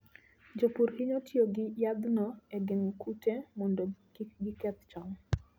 Jopur hinyo tiyo gi yadhno e geng'o kute mondo kik giketh cham.